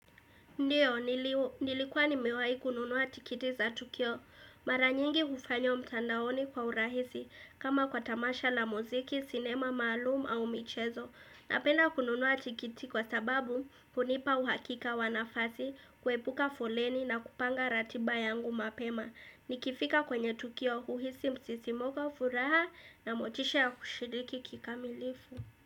Ndiyo, nilikuwa nimewai kununua tikiti za Tukio. Mara nyingi ufanywa mtandaoni kwa urahisi kama kwa tamasha la mziki, sinema, maalumu au michezo. Napenda kununua tikiti kwa sababu kunipa uhakika wa nafasi, kuepuka foleni na kupanga ratiba yangu mapema. Nikifika kwenye Tukio, uhisi msisimuko furaha na motisha ya kushiriki kikamilifu.